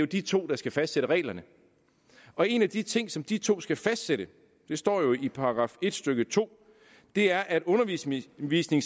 de to der skal fastsætte reglerne og en af de ting som de to skal fastsætte det står jo i § en stykke to er at undervisningsministeren